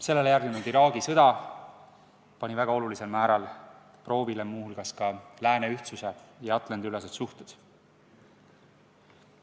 Sellele järgnenud Iraagi sõda pani väga olulisel määral proovile muu hulgas lääne ühtsuse ja Atlandi-ülesed suhted.